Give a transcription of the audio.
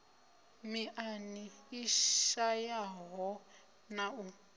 miṱani i shayaho na u